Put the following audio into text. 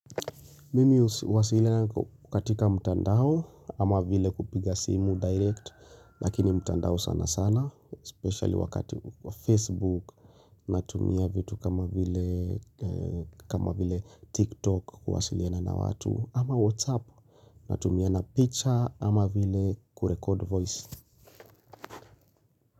Mimi huwasiliana katika mtandao ama vile kupiga simu direct Lakini mtandao sana sana, especially wakati wa Facebook Natumia vitu kama vile TikTok kuwasiliana na watu ama WhatsApp natumia na picture kama vile kurekod voice.